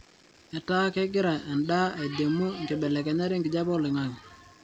ataa kengira endaa aidimu nkibelekenyat enkijape toloingangi